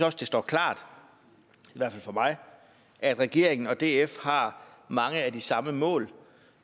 også det står klart i hvert fald for mig at regeringen og df har mange af de samme mål